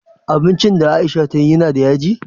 Abincin da aisha tayi yana da yaji?